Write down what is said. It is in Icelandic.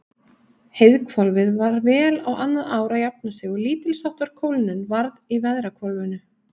Heiðhvolfið var vel á annað ár að jafna sig og lítilsháttar kólnun varð í veðrahvolfinu.